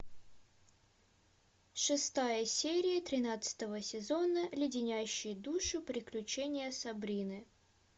шестая серия тринадцатого сезона леденящие душу приключения сабрины